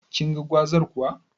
Kinga gwazar kuwa?